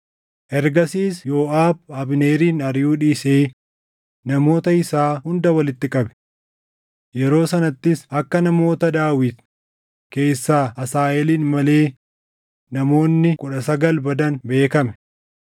Ergasiis Yooʼaab Abneerin ariʼuu dhiisee namoota isaa hunda walitti qabe. Yeroo sanattis akka namoota Daawit keessaa Asaaheelin malee namoonni kudha sagal badan beekame.